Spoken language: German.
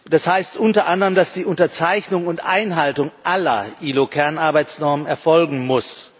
Das heißt unter anderem, dass die Unterzeichnung und Einhaltung aller IAO Kernarbeitsnormen erfolgen muss.